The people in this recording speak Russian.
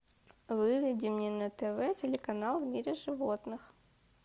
выведи мне на тв телеканал в мире животных